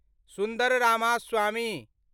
सुन्दर रामास्वामी